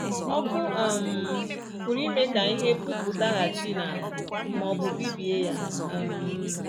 Ọkụ um pụrụ ime ka ihe pupụtaghachi n’ala ma ọ bụ bibie ya um